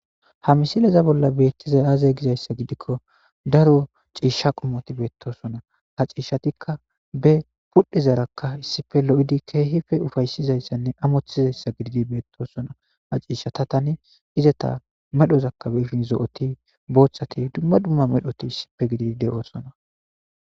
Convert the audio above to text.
Ha misileza bolla beettizay aaze gizayssa gidikko daro ciisha qumoti beettosona ha ciishshatikka be pudhezaarakka issife lo7idi keehife ufaysizayssanne amoththizayssa gididi beettoosona ha ciishshatatani izata medhozakkabeifin zo'oti booththati dumma dumma medhoti issife gidi de'oosona.